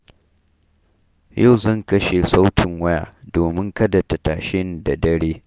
Yau zan kashe sautin waya domin kada ta tashe ni da dare.